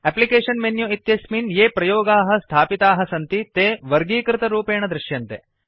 application menu इत्यस्मिन् ये प्रयोगाः स्थापिताः सन्ति ते वर्गीकृतरूपेण दृश्यन्ते